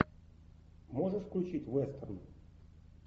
можешь включить вестерн